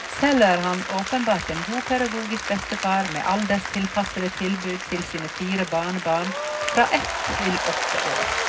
Selv er han åpenbart en god pedagogisk bestefar med alderstilpassede tilbud til sine fire barnebarn fra ett til åtte år.